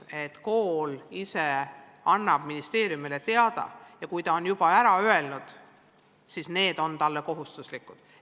Selle järgi annab kool ise ministeeriumile oma plaanist teada ja kui ta on selle välja öelnud, siis on need tasemetööd talle kohustuslikud.